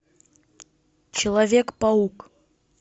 человек паук